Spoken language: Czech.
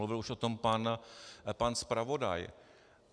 Mluvil už o tom pan zpravodaj.